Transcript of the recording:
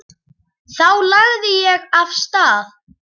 Þá lagði ég af stað.